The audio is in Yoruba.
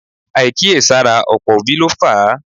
Àìkíyèsára ọ̀pọ̀ òbí ló fà á